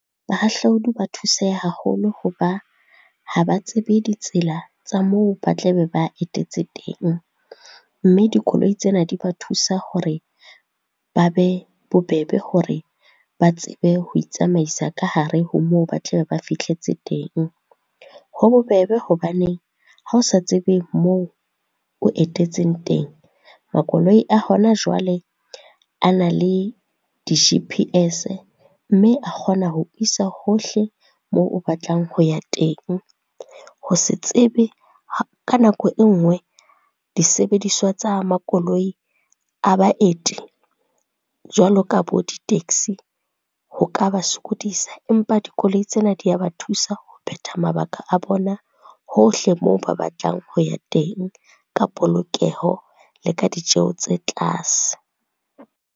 Bahahlaudi ba thuseha haholo hoba, ha ba tsebe ditsela tsa moo ba tla be ba etetse teng. Mme dikoloi tsena di ba thusa hore, ba be bobebe hore ba tsebe ho itsamaisa ka hare ho moo ba tla be ba fihletseng teng. Ho bobebe hobaneng, ha o sa tsebe moo o etetseng teng, makoloi a hona jwale a na le di-G_P_S mme a kgona ho isa hohle moo o batlang ho ya teng. Ho se tsebe, ka nako e nngwe disebediswa tsa makoloi a baeti jwalo ka bo di-taxi ho ka ba sokodisa, empa dikoloi tsena di a ba thusa ho phetha mabaka a bona hohle moo ba batlang ho ya teng, ka polokeho le ka ditjeho tse tlase.